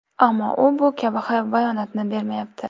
Ammo u bu kabi bayonotni bermayapti.